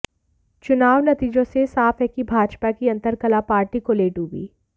चुनाव नतीजों से यह साफ है कि भाजपा की अंतरकलह पार्टी को ले डूबी